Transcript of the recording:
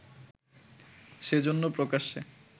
সেজন্য প্রকাশ্যে